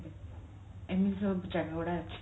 ଏମିତି ସବୁ ଜାଗା ଗୁଡା ଅଛି